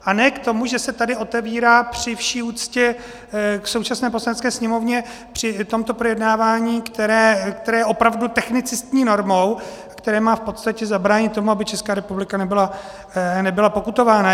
A ne k tomu, že se tady otevírá při vší úctě k současné Poslanecké sněmovně při tomto projednávání, které je opravdu technicistní normou, které má v podstatě zabránit tomu, aby Česká republika nebyla pokutována.